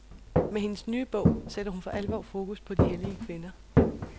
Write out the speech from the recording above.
Med hendes nye bog sætter hun for alvor fokus på de hellige kvinder.